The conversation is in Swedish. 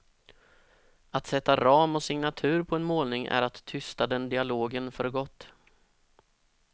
Att sätta ram och signatur på en målning är att tysta den dialogen för gott.